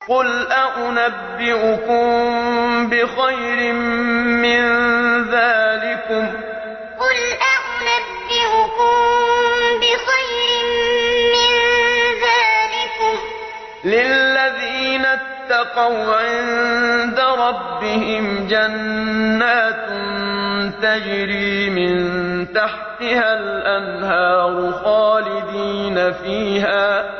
۞ قُلْ أَؤُنَبِّئُكُم بِخَيْرٍ مِّن ذَٰلِكُمْ ۚ لِلَّذِينَ اتَّقَوْا عِندَ رَبِّهِمْ جَنَّاتٌ تَجْرِي مِن تَحْتِهَا الْأَنْهَارُ خَالِدِينَ فِيهَا